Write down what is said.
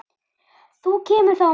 Þú kemur þá á morgun.